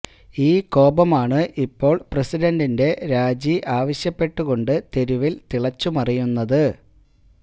ഈ കോപമാണ് ഇപ്പോൾ പ്രസിഡണ്ടിന്റെ രാജി ആവശ്യപ്പെട്ടുകോണ്ട് തെരുവിൽ തിളച്ചു മറിയുന്നത്